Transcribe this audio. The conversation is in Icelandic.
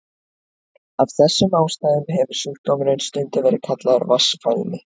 Af þessum ástæðum hefur sjúkdómurinn stundum verið kallaður vatnsfælni.